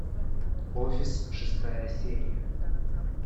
офис шестая серия